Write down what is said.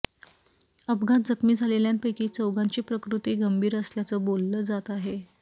अपघात जखमी झालेल्यांपैकी चौघांची प्रकृती गंभीर असल्याचं बोललं जात आहे